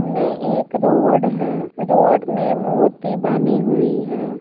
इमे एक रोड है रोड में मूर्ति बनी हुई है।